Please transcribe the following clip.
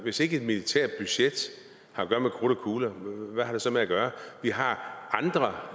hvis ikke et militært budget har at gøre med krudt og kugler hvad har det så med at gøre vi har andre